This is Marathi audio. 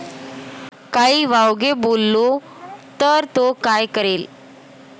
काही वावगे बोललो तर तो काय करेल?